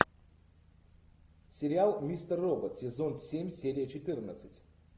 сериал мистер робот сезон семь серия четырнадцать